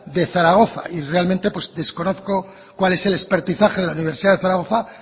de zaragoza y realmente pues desconozco cuál es el de la universidad de zaragoza